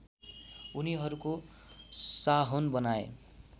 उनीहरूको साहोन बनाए